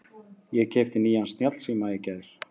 Ég keypti nýjan snjallsíma í gær.